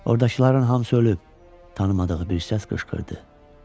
Oradakıların hamısı ölüb, tanımadığı bir səs qışqırdı.